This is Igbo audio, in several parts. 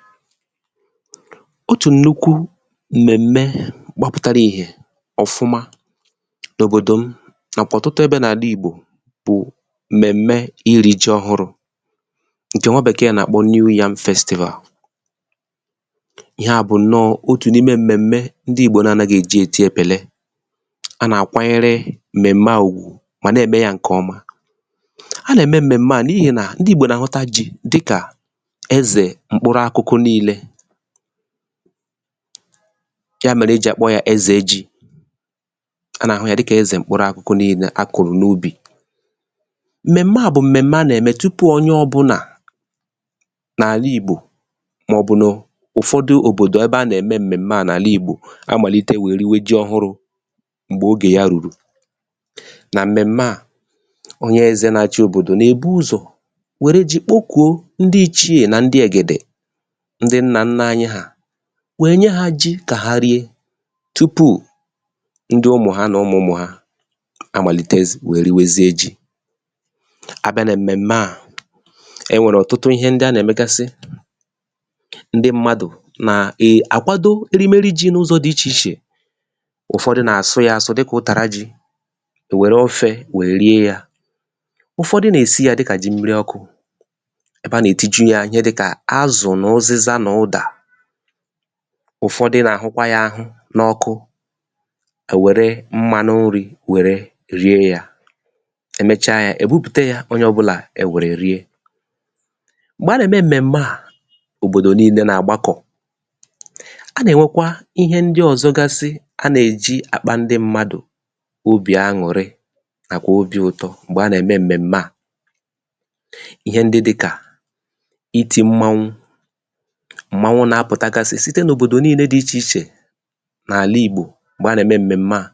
file 126 otù nnuku mmẹ̀m̀mẹ gbapụtara ìhè ọ̀fụma n’òbòdò m nà òtụtụ ẹbẹ n’àla ìgbò bụ̀ m̀mẹ̀m̀mẹ irī ji ọhụrụ̄ ǹkẹ nwa Bẹ̀kẹ̀ nà àkpọ nyu yam festivàl yà bụ̀ ǹnọ otù n’ime m̀mẹ̀m̀mẹ ndị ìgbò na anaghị èji èti ẹ̀pẹ̀lẹ a nà àkwanyẹrẹ m̀mẹ̀m̀mẹ à ùgwù mà nà ẹ̀mẹ ya ǹkẹ̀ ọma a nà ẹ̀mẹ m̀mẹ̀m̀mẹ à n’ihì nà ndị ìgbò nà àhụta jī kà ẹzẹ̀ mkpụrụ akụkụ nille yà mẹ̀rẹ e jì àkpọ yā ẹzẹ ji a nà àhụ ya dịkà ẹzẹ mkpụrụ akụkụ ninenà akùrù n’ubì m̀mẹ̀m̀mẹ à bụ̀ m̀mẹ̀m̀mẹ a nà ẹ̀mẹ tupu onye ọbụlà n’àla ìgbò mà ọ̀ bụ̀ nà ụ̀fọdụ òbòdò ẹbẹ a nà ẹ̀mẹ m̀mẹ̀m̀mẹ n’àla ìgbò amàlite wèe riwe ji ọhụrụ̄ m̀gbẹ̀ ogè ya rùrù nà m̀mẹ̀m̀mẹ à onyẹ ẹzẹ̄ na achị òbòdò nà èbu ụzọ̀ wère ji kpọkuo ndị ìchie nà ndị ẹ̀gẹ̀dẹ̀ ndị nnà nnā anyị hà we nye ha ji kà ha rie tupù ndị ụmụ̀ ha nà ụmụ̀ ụmụ̀ ha amàlite we riwezie jī abịa nà m̀mẹ̀m̀mẹ à ẹ nwẹ̀rẹ̀ ọ̀tụtụ ịhẹ ndị a nà ẹ̀mẹgasị ndị mmadù nà àkwado erimeri jī n’ụzọ̄ dị ichè ichè ụ̀fọdụ nà àsụ ya asụ dịkà ụtàra jī ẹ̀ wẹ̀ru ofẹ̄ we rie yā ụ̀fọdụ nà èsi yā dịkà ji mmiri ọkụ̄ ẹbẹ a nà ètiju ya dịkà azụ̀ nà ụzịza nà ụdà ụ̀fọdị nà àhụkwa yā ahụ n’ọkụ ẹ̀ wẹrụ mmānụ nrī wẹ rie ya ẹ mẹcha yā ebùpùte ya onyẹ ọbụlà ẹ wẹ̀rẹ rie m̀gbẹ a nà ẹ̀mẹ m̀mẹ̀mmẹ à òbòdò nine nà àgbakọ̀ a nà ẹ̀nwẹkwa ịhẹ ndị ọ̀zọgasị a nà èji àkpa ndị mmadù obì añụrị nàkwà obī ụtọ m̀gbẹ̀ a nà ẹ̀mẹ m̀mẹ̀m̀mẹ à ịhẹ ndị dịkà itī mmanwu m̀manwu nà apụ̀tagasị site n’òbòdo di ichè ichè nà àla ìgbò m̀gbẹ̀ a nà ẹ̀mẹ m̀mẹ̀m̀mẹ à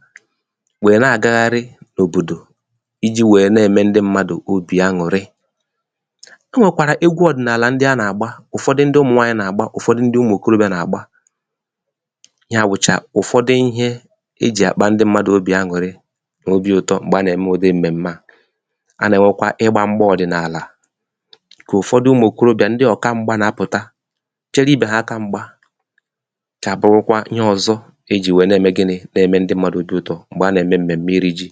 wẹ̀ nà àgagharị n’òbòdò ijī wẹ nà ẹ̀mẹ ndị mmadù obì añụrị ẹ nwẹ̀kwàrà egwu ọ̀dị̀nàlà a nà àgba ụ̀fọdị ndị ụmụ̀nwanyị nà àgba ụ̀fọdị ụmụ̀ òkorobịa nà àgba yà wụ̀chà ụ̀fọdị ịhẹ ejì àkpa ndị mmadù obi añụ̀rị nà obī ụtọ m̀gbẹ̀ a nà ẹ̀mẹ m̀mẹ̀m̀mẹ à a nà ẹ̀nwẹkwa ịgbā mbọ̄ ọ̀dị̀nàlà kà ụ̀fọdụ ụmụ̀ òkorobịà ndị òkamgba nà apụ̀ta chẹrẹ ibe ha aka mgba chà bụrụkwa ịhe ọ̀zọ e jì wẹ nàẹ̀mẹ gịnị nà ẹmẹ ndị mmadù obī ụtọ m̀gbè a nà ẹ̀mẹ m̀mẹ̀m̀mẹ irī ji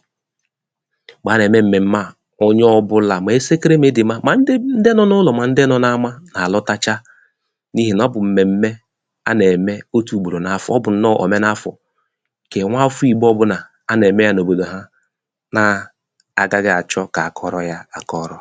m̀gbè a nà ẹ̀mẹ m̀mẹ̀m̀mẹ à onyẹ ọbụlà mà ẹsẹkẹrẹ nà ịdị̀m̀ma mà ndị nọ̄ n’ụnọ̀ mà ndị nọ n’ama nà àlọtacha n’ihì nà ọ bụ̀ m̀mẹ̀m̀mẹ a nà ẹ̀mẹ otū ùgbòrò n’afọ̀ ọ bụ̀ ǹnọ̄ọ ọmẹ n’afọ̀ ǹkẹ̀ nwafọ̄ ìgbo ọbụlà a nà ẹ̀mẹ yā n’òbòdò ha nà agaghị àchọ kà akọrọ ya akọrọ